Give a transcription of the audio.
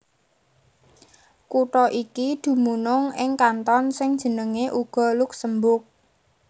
Kutha iki dumunung ing kanton sing jenengé uga Luksemburg